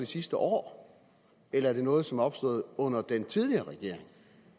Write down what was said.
sidste år eller er det noget som er opstået under den tidligere regering